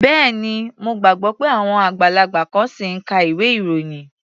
Bẹ́ẹ̀ni. Mo gbàgbọ́ pé àwọn àgbàlagbà kan ṣì ń ka ilwé-ìròyìn.